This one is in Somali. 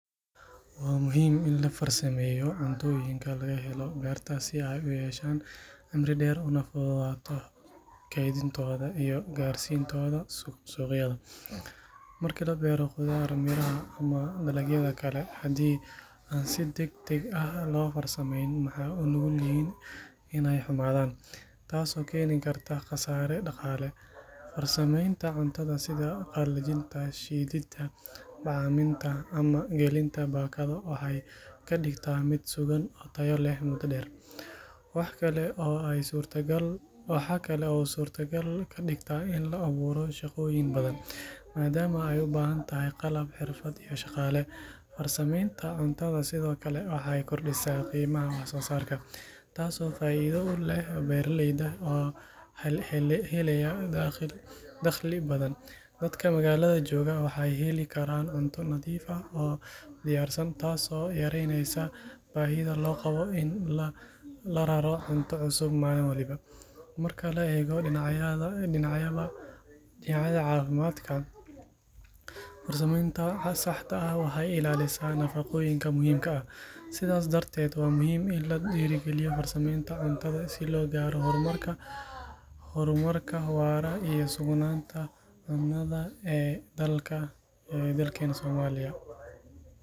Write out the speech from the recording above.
Wa muhiim in lafarsameyo cuntoyinka lagahelo berta si ay uyeshaan cimri deer unafududato keydintoda iyo suqyada, marka labero qudarta miraa ah ama mirigyada kale hadhii an si dagdag ah lofarsameyn maxa unugyixiin inay humadaan taas oo kenikarta qasare daqale, sameyta cuntada sidha qalajinta, shidinta, waxay lad8gta mid suqaan oo tayo leh , waxkale oo ay sutta gal kadigta in laaburo shagoyin badan, madamu ay ubahantahay qalab hirfaad iyo sjagale , farsameynra cuntada sidhokale waxay kordisa qiimaha wax sosarka, taasi oo faida uleh beraleyda oo helaya daqli badan, dadka maqalada jogaa waxay helikaran cunta nadiuf ah oo diyar san taas oo yarey eysa bahida logawo in lararo cunta cusub mali waliba, marka lagaego lawada dinac, dinacyada cafimadka farsameynta sahda ah waxay ilalisa nafagoyinka muxiimka ah, sidhas daraded wa muxiim in ladiragaliyo fatsameynta cuntada si logaro hormarka waraa iyo sugnanta cunada dalka ee dalkena somaliya.